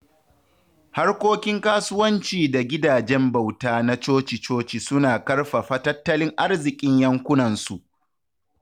Harkokin kasuwanci da gidajen bauta na coci-coci suna ƙarfafa tattalin arzikin yankunansu.